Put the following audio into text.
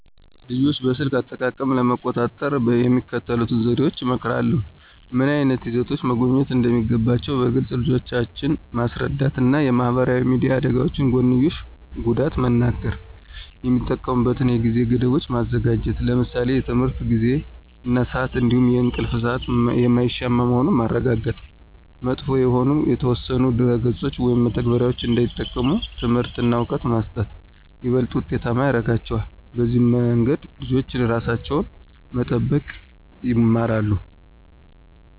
ልጆችን በስልክ አጠቃቀም ለመቆጣጠር የሚከተሉትን ዘዴዎች እመክራለሁ። ምን ዓይነት ይዘቶችን መጎብኘት እንደሚገባቸው በግልፅ ልጆችን ማስረዳት እና የማህበራዊ ሚዲያ አደጋዎች ጎንዮሽ ጉዳት መንገር። የሚጠቀሙበትን የጊዜ ገደቦች ማዘጋጀት ለምሳሌ የትምህርት ጊዜ እና ስአት እንዲሁም የእንቅልፍ ሰአት የማይሻማ መሆኑን ማረጋገጥ። መጥፎ የሆኑ የተወሰኑ ድረ-ገጾችን ወይም መተግበሪያዎችን እንዳይጠቀሙ ትምህርት እና እውቀት መስጠት ይበልጥ ውጤታማ ያረጋቸዋል። በዚህ መንገድ ልጆች ራሳቸውን መጠበቅ ይማራሉ።